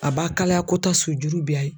A b'a kalayako tan sujuru bi a ye.